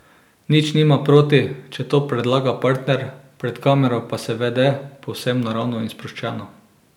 Nič nima proti, če to predlaga partner, pred kamero pa se vede povsem naravno in sproščeno.